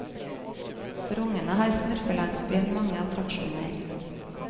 For ungene har smurfelandsbyen mange attraksjoner.